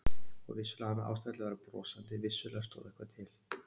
Og vissulega hafði hann ástæðu til að vera brosandi, vissulega stóð eitthvað til.